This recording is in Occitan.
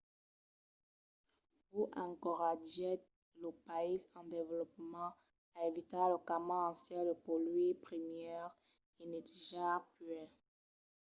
hu encoratgèt los païses en desvolopament a evitar lo camin ancian de polluir primièr e netejar puèi.